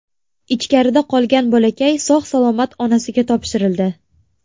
Ichkarida qolgan bolakay sog‘-salomat onasiga topshirildi.